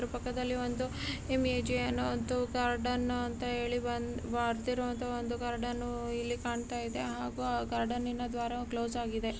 ಇದರ ಪಕ್ಕದಲ್ಲಿ ಒಂದು ಎಮ್ ಎ ಜೆ ಅನ್ನೋ ಅಂತಹ ಗಾರ್ಡನ್ ಅಂತ ಹೇಳಿ ಒಂದು ಬರ್ದಿರೋವಂತಹ ಗಾರ್ಡನ್ ಇಲ್ಲಿ ಕಾಣ್ತಾಯಿದೆ ಹಾಗು ಆ ಗಾರ್ಡನ್ನಿ ನ ದ್ವಾರವು ಕ್ಲೋಸ್ ಆಗಿದೆ .